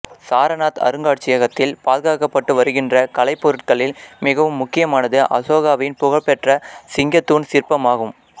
சாரநாத் அருங்காட்சியகத்தில் பாதுகாக்கப்பட்டு வருகின்ற கலைப்பொருள்களில் மிகவும் முக்கியமானது அசோகாவின் புகழ்பெற்ற சிங்கத் தூண் சிற்பம் ஆகும்